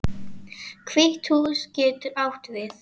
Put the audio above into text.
Hvíta húsið getur átt við